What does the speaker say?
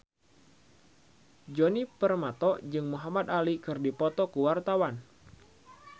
Djoni Permato jeung Muhamad Ali keur dipoto ku wartawan